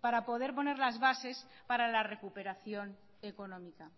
para poder poner las bases para la recuperación económica